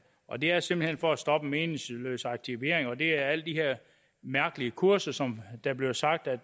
og det er simpelt hen for at stoppe meningsløs aktivering det er alle de her mærkelige kurser som der bliver sagt at